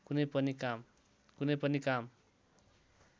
कुनै पनि काम